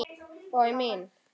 Og mín.